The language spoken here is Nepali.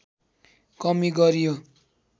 कमी गरियो